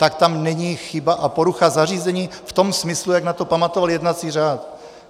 Tak tam není chyba a porucha zařízení v tom smyslu, jak na to pamatoval jednací řád.